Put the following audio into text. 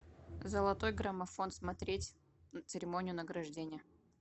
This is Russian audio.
золотой граммофон смотреть церемонию награждения